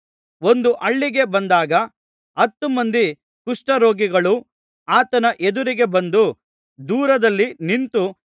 ಒಂದು ಹಳ್ಳಿಗೆ ಬಂದಾಗ ಹತ್ತುಮಂದಿ ಕುಷ್ಠರೋಗಿಗಳು ಆತನ ಎದುರಿಗೆ ಬಂದು ದೂರದಲ್ಲಿ ನಿಂತು